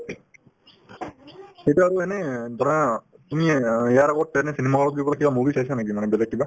সেইটোয়ে আৰু এনেই ধৰা তুমিয়ে অ ইয়াৰ আগত cinema hall ফুৰিবলৈ কিবা movie চাইছা নেকি মানে বেলেগ কিবা